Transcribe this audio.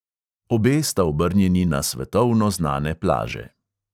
Obe sta obrnjeni na svetovno znane plaže.